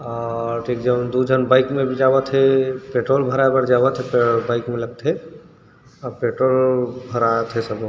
अ एक झन दु झन बाइक में बी जावत हे पेट्रोल भराय बर जावत हे ता बाइक मे लगथे अउ पेट्रोल भरावत हे।